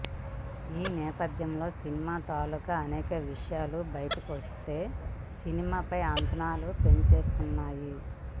ఈ నేపథ్యంలో సినిమా తాలూకా అనేక విషయాలు బయటకొస్తూ సినిమా ఫై అంచనాలు పెంచేస్తున్నాయి